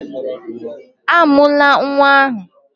Amụla nwa ahụ!